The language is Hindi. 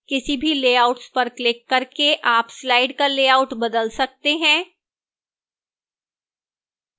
किसी भी layouts पर क्लिक करके आप slide का लेआउट बदल सकते हैं